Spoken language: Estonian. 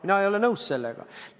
Mina ei ole sellega nõus!